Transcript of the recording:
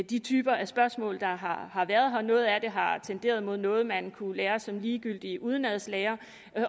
de typer af spørgsmål der har har været noget af det har tenderet mod noget man kunne lære som ligegyldig udenadslære